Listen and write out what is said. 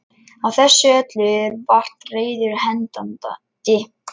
Á þessu öllu eru vart reiður hendandi.